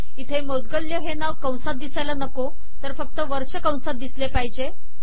इथे मौद्गल्य हे नाव कंसात दिसायला नको तर फक्त वर्ष कंसात दिसले पाहिजे